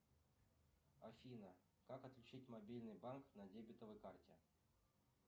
афина как отключить мобильный банк на дебетовой карте